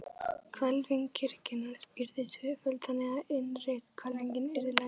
Hvelfing kirkjunnar yrði tvöföld, þannig, að innri hvelfingin yrði lægri.